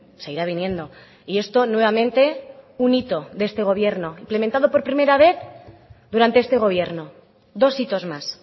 seguirá viniendo y esto nuevamente un hito de este gobierno implementado por primera vez durante este gobierno dos hitos más